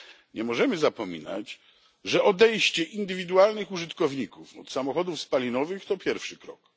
Nie możemy zapominać, że odejście indywidualnych użytkowników od samochodów spalinowych to pierwszy krok.